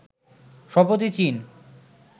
সম্প্রতি চীন